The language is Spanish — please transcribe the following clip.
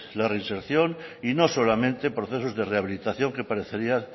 la reinserción y no solamente en procesos de rehabilitación que parecerían